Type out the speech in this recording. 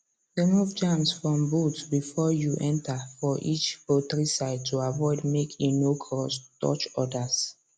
remove germs from boots before you enter for each poultry side to avoid make e no cross touch others